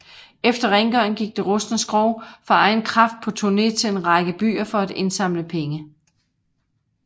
Efter rengøring gik det rustne skrog for egen kraft på turné til en række byer for at indsamle penge